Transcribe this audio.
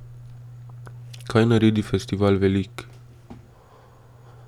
Kaj naredi festival velik?